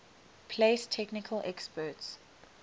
place technical experts